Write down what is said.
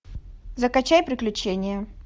закачай приключения